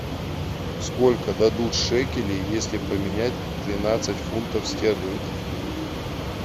сколько дадут шекелей если поменять тринадцать фунтов стерлингов